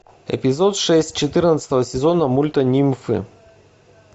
эпизод шесть четырнадцатого сезона мульта нимфы